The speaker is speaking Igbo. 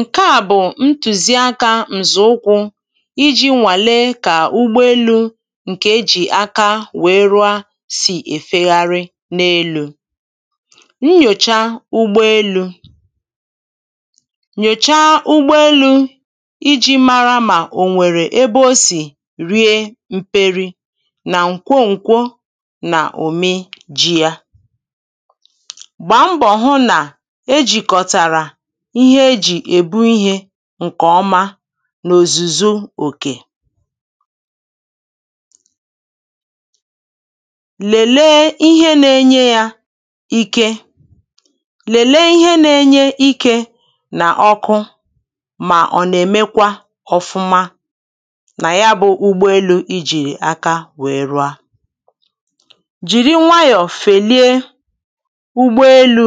Ǹke à bụ ntùziakā ǹzọ̀ụkwụ̄ ijī nwàle kà ụgbọelū ǹkè ejì aka wèe rụa sì è fegharị n’elū nnyòcha ụgbọelū nyòcha ụgbọelū ijī mara mà ènwèrè ebe o sì rie mperi nà ǹkwoǹkwọ nà òme jī yā gbàá mbọ̀ hụ nà e jìkọ̀tàrà ihe ejì è bu ihē ǹkọ̀ ọma n’òzùzu òkè lèlé ihé na-enye yā ike lèlé ihē na-enye ikē nà ọkụ mà ọ̀ nà-èmekwa ọ̄fụ́má nà ya bụ̄ ụgbọelū ijìrì aka wee rụa jìri nwayọ fèlie ụgbọelū